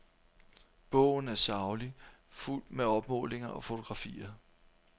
Bogen er saglig, fuldt med opmålinger og fotografier.